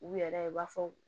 U yɛrɛ u b'a fɔ